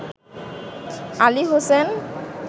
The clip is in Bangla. আলী হোসেন